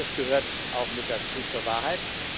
Das gehört auch mit zur Wahrheit.